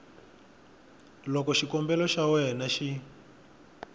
loko xikombelo xa wena xi